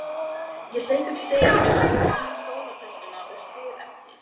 Ég hleyp upp stigann með skólatöskuna og spyr eftir